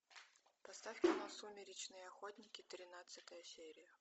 поставь кино сумеречные охотники тринадцатая серия